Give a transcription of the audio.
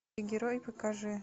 герой покажи